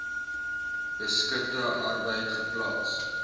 beskutte arbeid geplaas